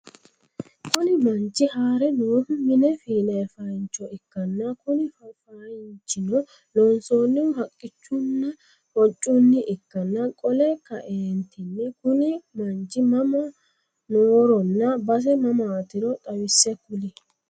Kuni manchchi haare noohu mine fiinaayii faayiiinchcho ikkanna Kuni faayiinchino loonsannihu haqqichunnina hoccunni ikkanna qole kaeentinni Kuni manchi mama nooronna base mamaatiro xawisse kuli?